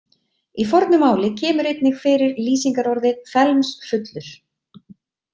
Í fornu máli kemur einnig fyrir lýsingarorðið felmsfullur.